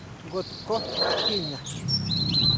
Ngotko makii nya.